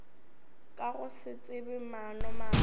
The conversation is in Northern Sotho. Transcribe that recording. ka go se tsebe maanomabe